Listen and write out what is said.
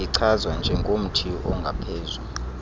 ichazwa njengomthi ongaphezu